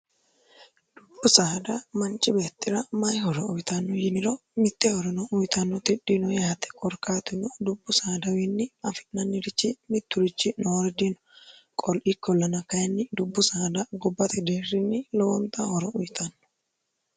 dubbu saada manchi beettira mayihoro uwitanno yiniro mitte horino uyitanno ti dhino yaate korkaatino dubbu saadawiinni afi'nannirichi mitturichi noori dino qol ikkoln kyinni dubbu saada gobbate deerrinni lowonxa horo uyitanno